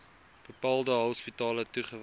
bepaalde hospitale toegewys